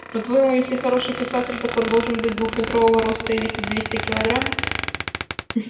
по-твоему если хороший писатель так он должен быть двухметрового роста и весить двести кг